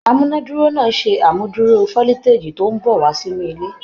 Amúnáduró náà ṣe amúduró foliteji tó n bọ wá sínú ilé.